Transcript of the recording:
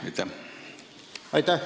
Aitäh!